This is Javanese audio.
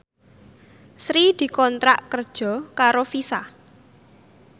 Sri dikontrak kerja karo Visa